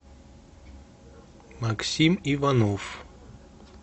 максим иванов